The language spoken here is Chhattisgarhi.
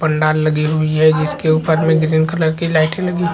पंडाल लगी हुई है जिसके ऊपर में ग्रीन कलर की लाइटे लगी--